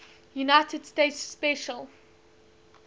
united states special